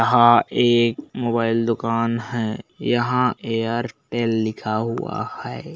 एक मोबाइल दुकान है यहाँ एयरटेल लिखा हुआ है।